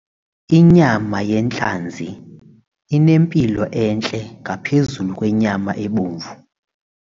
Inyama yentlanzi inempilo entle ngaphezu kwenyama ebomvu.